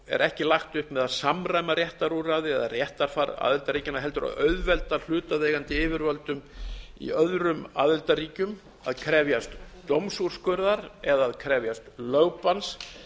er ekki lagt upp með að samræma réttarúrræði eða réttarfar aðildarríkjanna heldur að auðvelda hlutaðeigandi yfirvöldum í öðrum aðildarríkjum að krefjast dómsúrskurðar eða að krefjast lögbanns